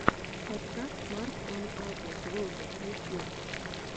подкаст марк он агу блогер ютьюб